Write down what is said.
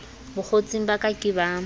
bokgotsing ba ke ke ba